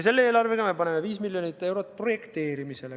Selle eelarvega me paneme 5 miljonit eurot projekteerimisele.